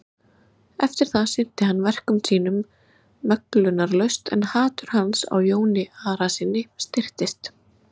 Eftir það sinnti hann verkum sínum möglunarlaust en hatur hans á Jóni Arasyni styrktist.